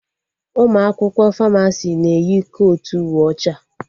Ụmụ akwụkwọ Famasi na-eyi kotu uwe ọcha